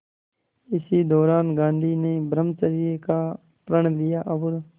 इसी दौरान गांधी ने ब्रह्मचर्य का प्रण लिया और